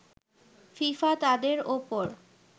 FIFA তাদের ওপর